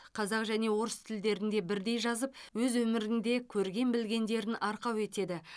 қазақ және орыс тілдерінде бірдей жазып өз өмірінде көрген білгендерін арқау етеді